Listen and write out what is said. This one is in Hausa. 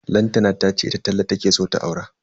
Lantana tace ita Talle take so ta aura.